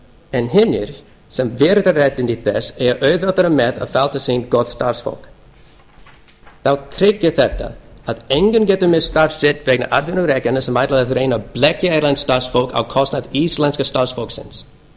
en hinir sem virða réttindi þess eiga auðveldara með að fá til sín gott starfsfólk þá tryggir þetta að enginn getur misst starf sitt vegna atvinnurekenda sem ætla að reyna að blekkja erlent starfsfólk á kostnað íslenska starfsfólksins